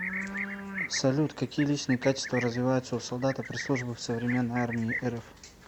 салют какие личные качества развиваются у солдата при службе в современной армии рф